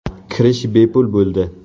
Kirish bepul bo‘ldi.